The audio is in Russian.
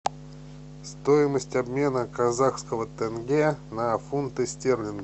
стоимость обмена казахского тенге на фунты стерлингов